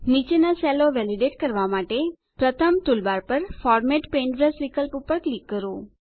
નીચેના સેલો વેલીડેટ કરવા માટે પ્રથમ ટૂલબાર પર ફોર્મેટ પેઇન્ટબ્રશ વિકલ્પ પર ક્લિક કરો